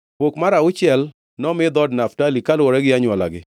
Pok mar auchiel nomi dhood Naftali, kaluwore gi anywolagi.